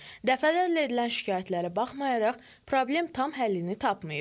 Dəfələrlə edilən şikayətlərə baxmayaraq, problem tam həllini tapmayıb.